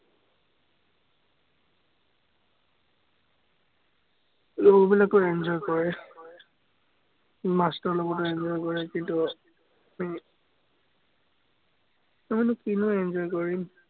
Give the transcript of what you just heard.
লগৰ বিলাকেও enjoy কৰে। মাষ্টৰৰ লগত enjoy কৰে, কিন্তু, আমিনো কিনো enjoy কৰিম।